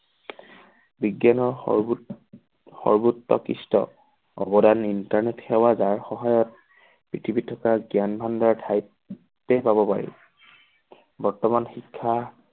বিজ্ঞানৰ সৰ্বো সৰ্বোত্ত খৃষ্ট আৱদান internet সেৱা যাৰ সহায়ত পৃথিৱীত থকা ভাণ্ডাৰ ঠাইতে পাব পাৰি বৰ্তমান শিক্ষা